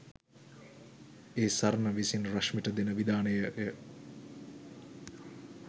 ඒ සරණ විසින් රශ්මිට දෙන විධානයය.